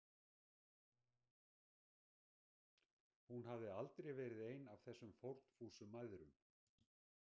Hún hafði aldrei verið ein af þessum fórnfúsu mæðrum.